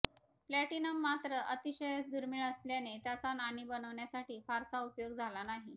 platinum मात्र अतिशयच दुर्मिळ असल्याने त्याचा नाणी बनवण्यासाठी फारसा उपयोग झाला नाही